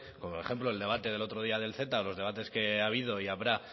como por ejemplo el debate del otro día del ceta o los debates que ha habido y habrá